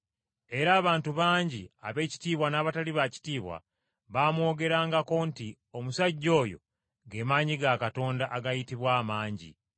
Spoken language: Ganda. Era abantu bangi ab’ekitiibwa n’abatali ba kitiibwa baamwogerangako nti, “Omusajja oyo ge maanyi ga Katonda agayitibwa, ‘Amangi.’ ”